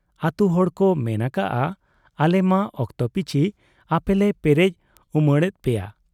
ᱟᱹᱛᱩ ᱦᱚᱲ ᱠᱚ ᱢᱮᱱ ᱟᱠᱟᱜ ᱟ, ᱟᱞᱮᱢᱟ ᱚᱠᱛᱚ ᱯᱤᱪᱷᱤ ᱟᱯᱮᱞᱮ ᱯᱮᱨᱮᱡ ᱩᱢᱟᱹᱬᱮᱫ ᱯᱮᱭᱟ ᱾